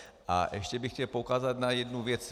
A ještě bych chtěl poukázat na jednu věc.